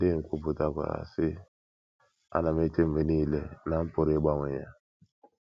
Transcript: Nadine kwupụtakwara, sị: “ Ana m eche mgbe nile na m pụrụ ịgbanwe ya. ”